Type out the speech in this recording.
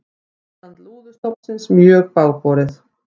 Ástand lúðustofnsins mjög bágborið